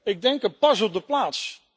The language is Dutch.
Ik denk een pas op de plaats.